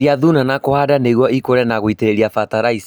Kwehereria thuna na kũhanda nĩguo ikũre na gũitĩrĩria bataraitha